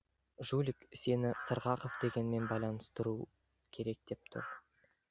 жулик сені сырғақов дегенмен байланыстыру керек деп тұр